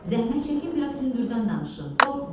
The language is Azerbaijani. Zəhmət çəkin, biraz hündürdən danışın.